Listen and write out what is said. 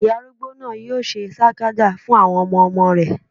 Ìyá arúgbó náà yóò ṣe sàkàdá fún àwọn ọmọmọ rẹ̀